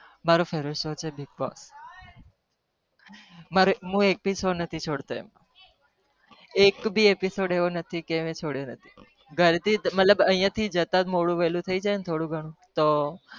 મારો favourite show દીપક એક episode છોડ તો નહી અમ